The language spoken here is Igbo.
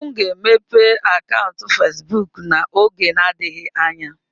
M ga-emepe akaụntụ Facebook n'oge adịghị anya.